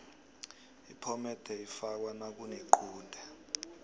iphomede ifakwa nakunequde